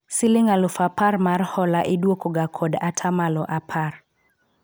siling alufu apar mar hola idwoko ga kod atamalo apar